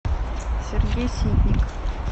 сергей ситник